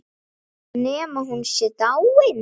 Nema hún sé dáin.